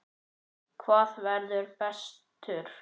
Hver verður bestur?